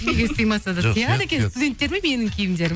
неге сыймаса да сияды екен студенттеріме менің киімдерім